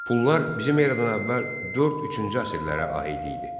Pullar bizim eradan əvvəl 4-3-cü əsrlərə aid idi.